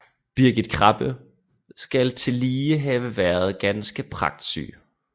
Birgitte Krabbe skal tillige have været ganske pragtsyg